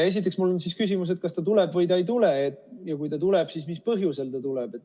Esiteks on mul küsimus, kas ta tuleb või ei tule ja kui tuleb, siis mis põhjusel ta tuleb.